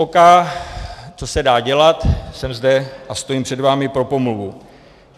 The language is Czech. OK, co se dá dělat, jsem zde a stojím před vámi pro pomluvu.